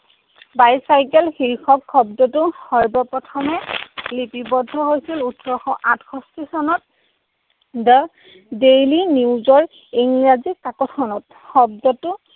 Bicycle শীৰ্ষক শব্দটো সৰ্বপ্ৰথমে লিপিবদ্ধ হৈছিল ওঠৰশ আঠষষ্ঠী চনত দ্য দেইলী নিউজৰ ইংৰাজী কাকতখনত। শব্দটো